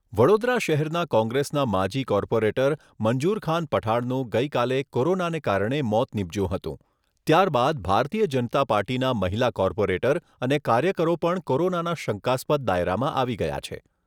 વડોદરા શહેરના કોંગ્રેસના માજી કોર્પોરેટર મંજુર ખાન પઠાણનું ગઈકાલે કોરોનાને કારણે મોત નીપજ્યું હતું. ત્યારબાદ ભારતીય જનતા પાર્ટીના મહિલા કોર્પોરેટર અને કાર્યકરો પણ કોરોનાના શંકાસ્પદ દાયરામાં આવી ગયા છે.